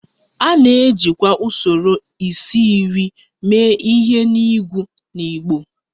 A na-ejikwa usoro isi-iri mee ihe n'ịgụ n'igbo